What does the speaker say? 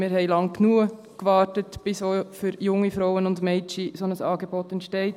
Wir haben lange genug darauf gewartet, bis auch für junge Frauen und Mädchen ein solches Angebot entsteht.